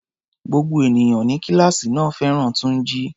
Gbogbo ènìyàn ní kíláàsì náà fẹ́ràn Túnjí.